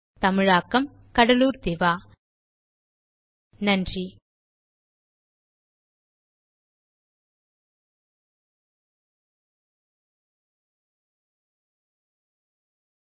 spoken hyphen tutorial dot org slash NMEICT hyphen intro தமிழாக்கம் கடலூர் திவா நன்றி